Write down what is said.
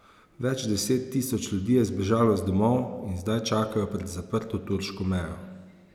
Več deset tisoč ljudi je zbežalo z domov in zdaj čakajo pred zaprto turško mejo.